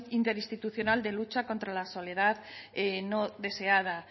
interinstitucional de lucha contra la soledad no deseada